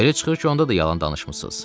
Belə çıxır ki, onda da yalan danışmısız?